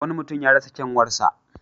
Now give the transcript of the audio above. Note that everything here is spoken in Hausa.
Wani mutum ya rasa kyanwarsa.